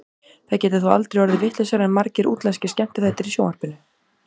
Það getur þó aldrei orðið vitlausara en margir útlenskir skemmtiþættir í sjónvarpinu.